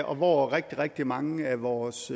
og hvor rigtig rigtig mange af vores